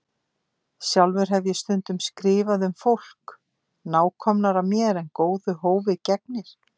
Sjálfur hef ég stundum skrifað um fólk nákomnara mér en góðu hófi gegnir.